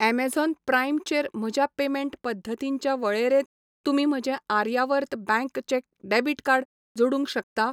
Amazon Prime चेर म्हज्या payment पद्दतींच्या वळेरेंत तुमी म्हजें आर्यावर्त बँक चें डेबिट कार्ड जोडूंक शकता?